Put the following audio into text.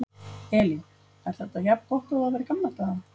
Elín: Er þetta jafn gott og það var í gamla daga?